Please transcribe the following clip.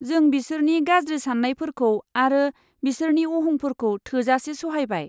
जों बिसोरनि गाज्रि सान्नायफोरखौ आरो बिसोरनि अहंफोरखौ थोजासे सहायबाय।